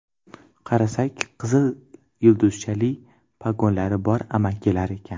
Qarasak, qizil yulduzchali pogonlari bor amakilar ekan.